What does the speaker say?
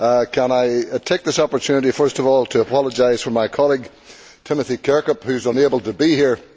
Can I take this opportunity first of all to apologise for my colleague, Timothy Kirkhope, who is unable to be here.